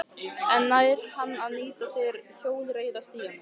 En nær hann að nýta sér hjólreiðastígana?